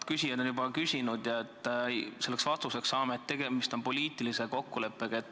Mitu inimest on juba oma küsimuse küsinud ja vastuseks saanud, et tegemist on poliitilise kokkuleppega.